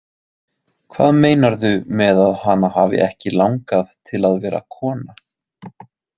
Hvað meinarðu með að hana hafi ekki langað til að vera kona?